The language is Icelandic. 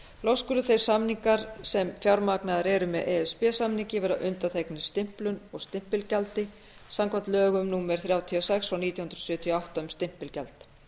loks skulu þeir samningar sem fjármagnaðir eru með e s b samningi vera undanþegnir stimplun og stimpilgjaldi samkvæmt lögum númer þrjátíu og sex nítján hundruð sjötíu og átta um stimpilgjald